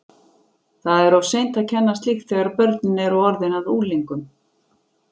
Það er of seint að kenna slíkt þegar börnin eru orðin að unglingum!